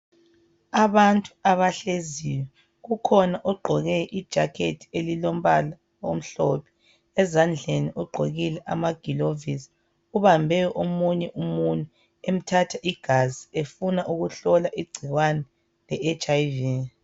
Abantu abahleziyo, kukhona ogqoke ijakhethi elilombala omhlophe, ezandleni ugqokile amagilovisi, ubambe omunye umunwe emthatha igazi efuna ukuhlola igcikwane le HIV.